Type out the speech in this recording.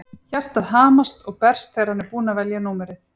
Hjartað hamast og berst þegar hann er búinn að velja númerið.